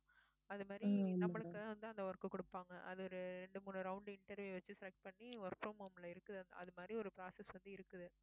அது மாதிரி நம்மளுக்கு வந்து அந்த work கொடுப்பாங்க அது ஒரு ரெண்டு மூணு round interview வச்சு select பண்ணி work from home ல இருக்கு அது மாதிரி ஒரு process வந்து இருக்குது